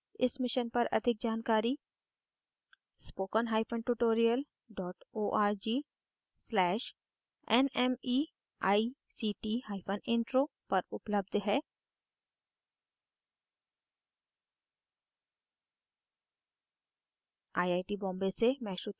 इस मिशन पर अधिक जानकारी